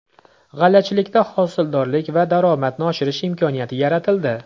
G‘allachilikda hosildorlik va daromadni oshirish imkoniyati yaratildi.